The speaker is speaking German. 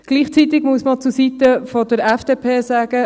Gleichzeitig muss man zur Seite der FDP sagen: